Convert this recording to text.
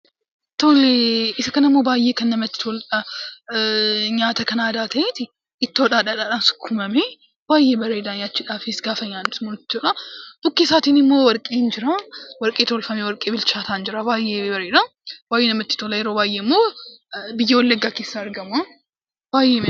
Isa kanaa immoo baayyee kan namatti toludha. Nyaata kan aadaa ta'eetu ittoo fi dhadhaadhaan sukkuumamee baayyee bareeda nyaachuudhaafis gaafa nyaannu jechuudha, bukkee isaatiin immoo warqeen jiraa, warqee tolfamee warqee bilchaataan jira baayyee bareeda, baayyee namatti tola yeroo baayyee immoo, biyya wallaggaa keessaa argama.